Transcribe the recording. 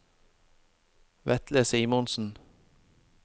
Vetle Simonsen